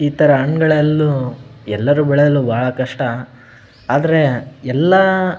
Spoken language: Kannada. ಇತರ ಹಣ್ಣಗಳೆಲ್ಲ ಎಲ್ಲರೂ ಬೆಳೆಯದು ಬಹಳ ಕಷ್ಟ ಆದ್ರೆ ಎಲ್ಲ --